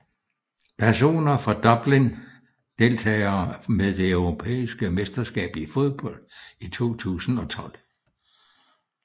Personer fra Dublin Deltagere ved det europæiske mesterskab i fodbold 2012